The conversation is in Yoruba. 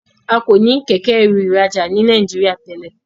A ko ní Kẹ̀kẹ́-ẹrù ìrajà ní Nàìjíríà tèlé.